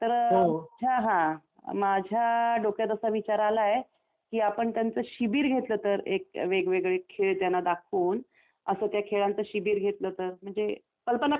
माझ्या डोक्यात असा विचार आलाय की आपण त्यांचे शिबिर घेतलं तर एक वेगवेगळे खेळ त्यांना दाखवून असं त्या खेळांचे शिबिर घेतलं तर म्हणजे कल्पना कशी वाटते तुला